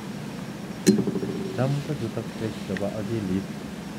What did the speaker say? Cham, ko chuto pek cho akilit.